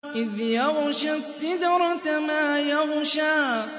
إِذْ يَغْشَى السِّدْرَةَ مَا يَغْشَىٰ